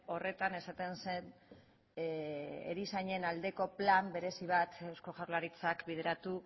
horretan esaten zen erizainen aldeko plan berezi bat eusko jaurlaritzak bideratu